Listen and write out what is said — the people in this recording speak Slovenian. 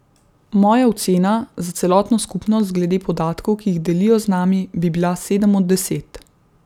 Moja ocena za celotno skupnost glede podatkov, ki jih delijo z nami, bi bila sedem od deset.